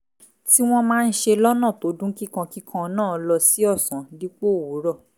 tí wọ́n máa ń ṣe lọ́nà tó dún kíkankíkan náà lọ sí ọ̀sán dípò òwúrọ̀